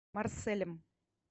марселем